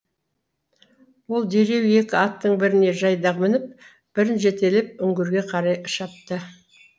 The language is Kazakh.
ол дереу екі аттың біріне жайдақ мініп бірін жетелеп үңгірге қарай шапты